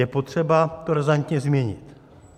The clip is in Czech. Je potřeba to razantně změnit.